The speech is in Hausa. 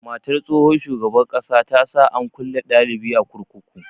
Matar tsohon shugaban ƙasa ta sa an kulle dalibi a kurkuku.